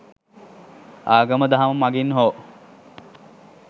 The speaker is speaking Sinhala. ආගම දහම මගින් හෝ